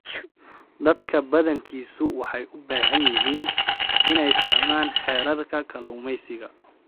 Dadka badankiisu waxay u baahan yihiin inay fahmaan xeerarka kalluumaysiga.